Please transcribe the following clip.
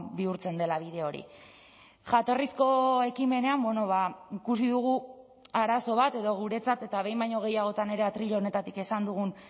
bihurtzen dela bide hori jatorrizko ekimenean ikusi dugu arazo bat edo guretzat eta behin baino gehiagotan ere atril honetatik esan dugun